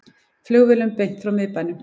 Flugvélum beint frá miðbænum